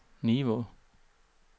Nivå